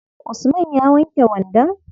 Usman ya wanke wandon?